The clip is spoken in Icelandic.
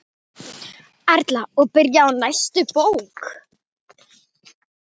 Erla: Og byrjuð á næstu bók?